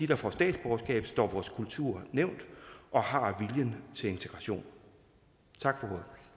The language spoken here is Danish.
der får statsborgerskab står vores kultur nær og har viljen til integration tak